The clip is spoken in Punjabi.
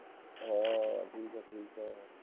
ਹਾਂ ਠੀਕ ਐ ਠੀਕ ਐ